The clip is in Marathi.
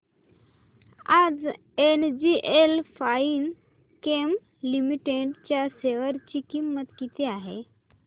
आज एनजीएल फाइनकेम लिमिटेड च्या शेअर ची किंमत किती आहे